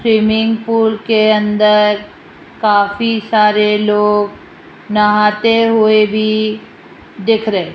swimming pool के अंदर काफी सारे लोग नहाते हुए भी दिख रहे --